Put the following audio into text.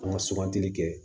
An ka sugantili kɛ